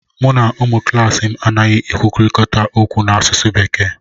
Mụ na ụmụ klaasị m anaghị ekwurịta okwu n'asụsụ bekee